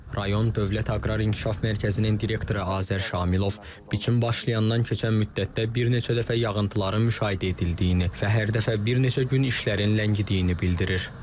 Rayon Dövlət Aqrar İnkişaf Mərkəzinin direktoru Azər Şamilov biçin başlayandan keçən müddətdə bir neçə dəfə yağıntıların müşahidə edildiyini və hər dəfə bir neçə gün işlərin ləngidiyini bildirir.